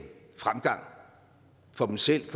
fremgang for dem selv